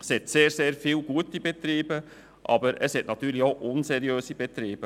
es gibt sehr viele gute Betriebe, aber es gibt auch unseriöse Betriebe.